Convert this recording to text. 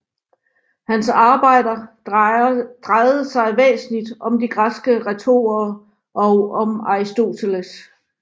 Hans arbejder drejede sig væsentlig om de græske retorer og om Aristoteles